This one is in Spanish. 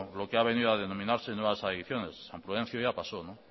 lo que ha venido a denominarse nuevas adiciones san prudencio ya pasó no